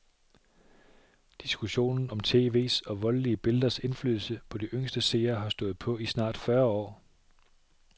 Diskussionen om tv's og voldelige billeders indflydelse på de yngste seere har stået på i snart fyrre år.